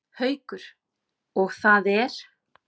Haukur: Og það er?